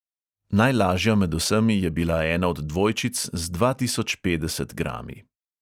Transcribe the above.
Najlažja med vsemi je bila ena od dvojčic z dva tisoč petdeset grami.